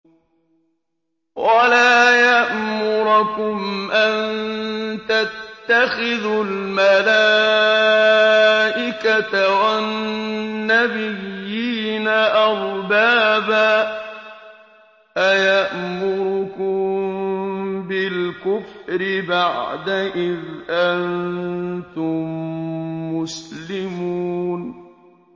وَلَا يَأْمُرَكُمْ أَن تَتَّخِذُوا الْمَلَائِكَةَ وَالنَّبِيِّينَ أَرْبَابًا ۗ أَيَأْمُرُكُم بِالْكُفْرِ بَعْدَ إِذْ أَنتُم مُّسْلِمُونَ